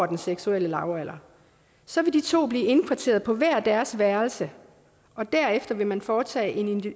den seksuelle lavalder så vil de to blive indkvarteret på hver deres værelse og derefter vil man foretage en